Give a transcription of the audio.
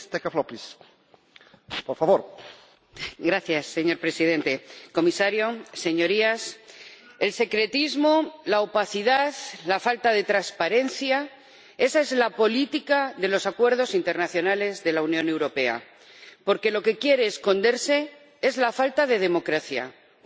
Señor Presidente, señor Comisario, Señorías, el secretismo, la opacidad, la falta de transparencia esa es la política de los acuerdos internacionales de la Unión Europea, porque lo que quiere esconderse es la falta de democracia, una agenda imperialista en lo político y en lo económico.